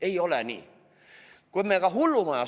Ei ole nii!